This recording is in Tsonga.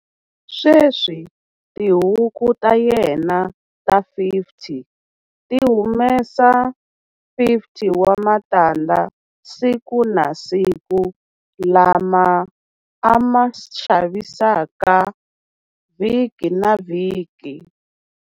Sweswi tihuku ta yena ta 50 ti humesa 50 wa matandza siku na siku, lama a ma xavisaka vhiki na vhiki.